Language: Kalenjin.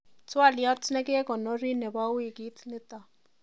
twoliot nekekonori nebo wikit nito